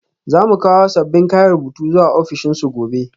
Za mu kawo sabbin kayan rubutu zuwa ofishinsu gobe